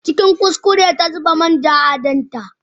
Cikin kuskure ta zuba main ja a tanda.